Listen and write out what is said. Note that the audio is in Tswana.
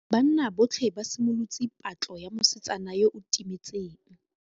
Banna botlhê ba simolotse patlô ya mosetsana yo o timetseng.